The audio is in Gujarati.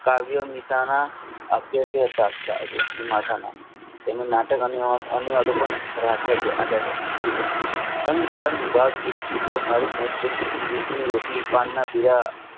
કાવ્યની આપ્યા તે પાંચ આવ્યા તેનું નાટક અને ડફો પણ ખરા છે એમ તરણ ભાળ